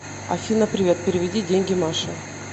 афина привет переведи деньги маше